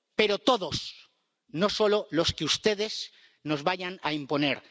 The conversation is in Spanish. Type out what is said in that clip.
Pero todos, no solo los que ustedes nos vayan a imponer.